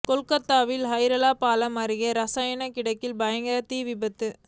கொல்கத்தாவின் ஹௌரா பாலம் அருகே ரசாயண கிடங்கில் பயங்கர தீ விபத்து